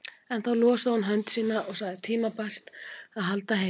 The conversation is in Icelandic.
En þá losaði hún hönd sína og sagði tímabært að halda heim.